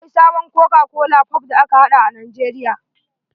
Akwai sabon koka kolan pop da aka haɗa a nijeria.